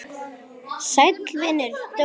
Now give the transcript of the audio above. Sæll vinur, Dóri!